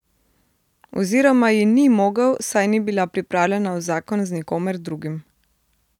Oziroma ji ni mogel, saj ni bila pripravljena v zakon z nikomer drugim.